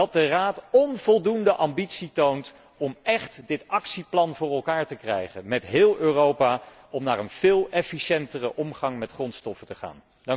Dat de Raad onvoldoende ambitie toont om echt dit actieplan voor elkaar te krijgen met heel Europa, om naar een veel efficiëntere omgang met grondstoffen te gaan.